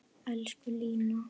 Elsku Lína.